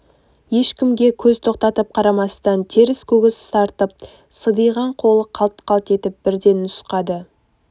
ешкімге көз тоқтатып қарамастан теріс көгіс тартып сидиған қолы қалт-қалт етіп бірден нұсқады